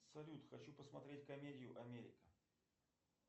салют хочу посмотреть комедию америка